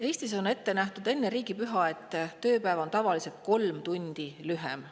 Eestis on ette nähtud, et enne riigipüha on tööpäev tavaliselt kolm tundi lühem.